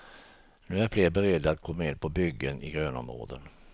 Nu är fler beredda att gå med på byggen i grönområden.